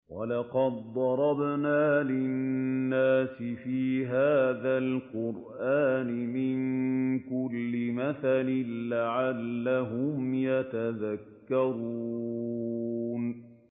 وَلَقَدْ ضَرَبْنَا لِلنَّاسِ فِي هَٰذَا الْقُرْآنِ مِن كُلِّ مَثَلٍ لَّعَلَّهُمْ يَتَذَكَّرُونَ